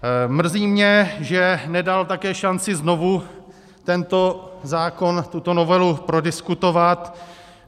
Mrzí mě, že nedal také šanci znovu tento zákon, tuto novelu prodiskutovat.